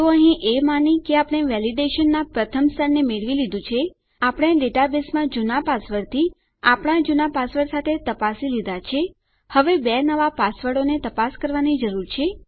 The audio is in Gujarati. તો અહીં એ માની કે આપણે વેલીડેશનનાં પ્રથમ સ્તરને મેળવી લીધું છે આપણે ડેટાબેઝમાં જુના પાસવર્ડથી આપણા જુના પાસવર્ડ સાથે તપાસી લીધા છે હવે બે નવા પાસવર્ડોને તપાસ કરવાની જરૂર છે